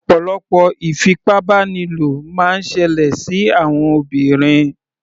Ọ̀pọ̀lọpọ̀ ìfipábánilò máa ń ṣẹlẹ̀ sí àwọn obìnrin.